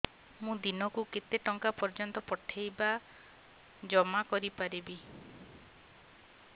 ମୁ ଦିନକୁ କେତେ ଟଙ୍କା ପର୍ଯ୍ୟନ୍ତ ପଠେଇ ବା ଜମା କରି ପାରିବି